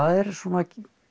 er svona